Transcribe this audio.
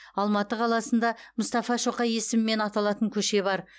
алматы қаласында мұстафа шоқай есімімен аталатын көше бар